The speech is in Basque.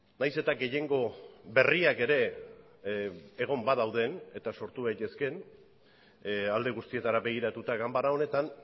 nahiz eta gehiengo berriak ere egon badauden eta sortu daitezkeen alde guztietara begiratuta ganbara honetan